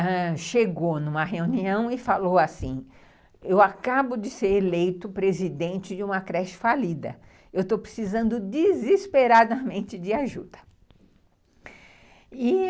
que chegou numa reunião e falou assim, eu acabo de ser eleito presidente de uma creche falida, eu estou precisando desesperadamente de ajuda.